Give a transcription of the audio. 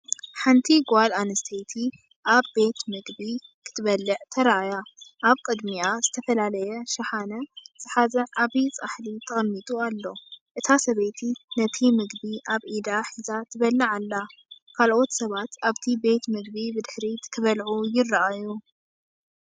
ሓንቲ ጓል ኣንስተይቲ ኣብ ቤት መግቢ ክትበልዕ ተራእያ። ኣብ ቅድሚኣ ዝተፈላለየ ሸሓኒ ዝሓዘ ዓቢ ጻሕሊ ተቐሚጡ ኣሎ። እታ ሰበይቲ ነቲ ምግቢ ኣብ ኢዳ ሒዛ ትበልዕ ኣላ። ካልኦት ሰባት ኣብቲ ቤት ምግቢ ብድሕሪት ክበልዑ ይረኣዩ።